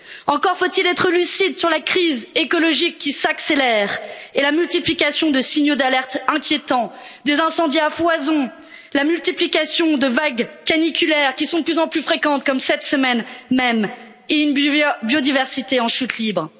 Encore faut il être lucide sur la crise écologique qui s'accélère et la multiplication de signaux d'alerte inquiétants des incendies à foison, la multiplication de vagues caniculaires qui sont de plus en plus fréquentes, comme cette semaine même, et une biodiversité en chute libre.